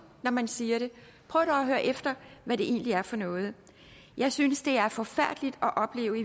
når man siger det prøv dog at høre efter hvad det egentlig er for noget jeg synes det er forfærdeligt at opleve